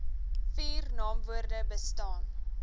vier naamwoorde bestaan